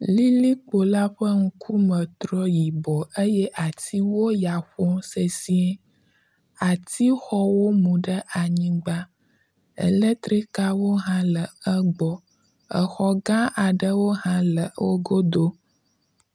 Lilikpo la ƒe ŋkume trɔ yibɔ eye atiwo ya ƒom sesiẽ. Atixɔwo mu ɖe anyigba. Electrikawo hã le egbɔ. Exɔ gã aɖewo hã le wogodo.